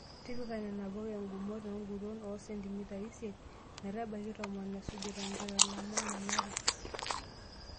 Tipika nena puka ngumot enguton oo sentimitai isiet metabaiki tomon isujita enkitalama nanare.